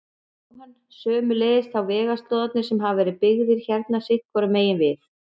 Jóhann: Sömuleiðis þá vegslóðarnir sem hafa verið byggðir hérna sitthvoru megin við?